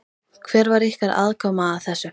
Hver var ykkar aðkoma að þessu?